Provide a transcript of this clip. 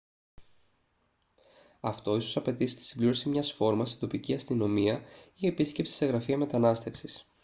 αυτό ίσως απαιτήσει τη συμπλήρωση μιας φόρμας στην τοπική αστυνομία ή επίσκεψη σε γραφεία μετανάστευσης